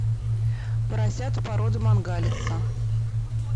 поросята породы мангалица